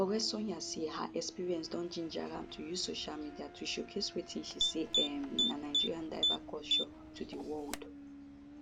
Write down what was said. oresanya say her experience don ginger am to use social media to showcase wetin she say um na nigeria diverse culture to di world